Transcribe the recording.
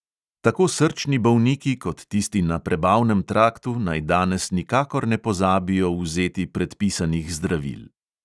Tako srčni bolniki kot tisti na prebavnem traktu naj danes nikakor ne pozabijo vzeti predpisanih zdravil.